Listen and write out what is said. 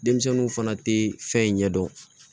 Denmisɛnninw fana tɛ fɛn ɲɛ dɔn